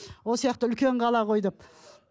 үлкен қала ғой деп